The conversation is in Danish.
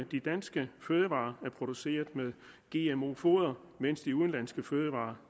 de danske fødevarer var produceret med gmo foder mens de udenlandske fødevarer